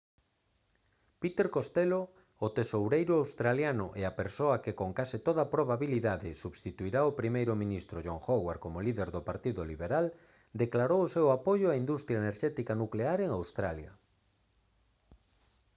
peter costello o tesoureiro australiano e a persoa que con case toda probabilidade substituirá ao primeiro ministro john howard como líder do partido liberal declarou o seu apoio á industria enerxética nuclear en australia